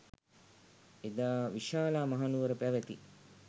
එදා විශාලා මහනුවර පැවැති